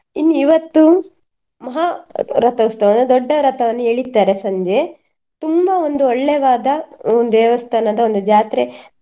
ಇನ್ನು ಇವತ್ತು ಮಹಾರಥೋತ್ಸವ ಅಂದ್ರೆ ದೊಡ್ಡ ರಥವನ್ನು ಎಳಿತಾರೆ ಸಂಜೆ ತುಂಬಾ ಒಂದು ಒಳ್ಳೆವಾದ ಒಂದು ದೇವಸ್ಥಾನದ ಒಂದು ಜಾತ್ರೆ.